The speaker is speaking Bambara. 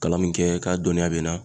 Kalan min kɛ k'a dɔnniya bɛ n na